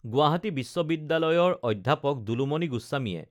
গুৱাহাটী বিশ্ববিদ্যালয়ৰ অধ্যাপক দুলুমণি গোস্বামীয়ে